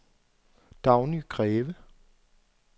Dagny Greve